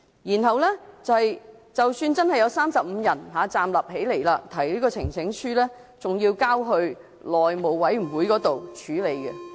而即使有35人站立支持，呈請書也只是交往內務委員會處理。